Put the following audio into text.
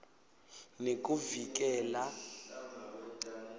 nekuvikela